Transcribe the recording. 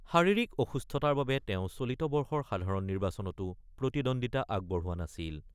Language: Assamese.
শাৰিৰীক অসুস্থতাৰ বাবে তেওঁ চলিত বৰ্ষৰ সাধাৰণ নিৰ্বাচনতো প্ৰতিদ্বন্দিতা আগবঢ়োৱা নাছিল।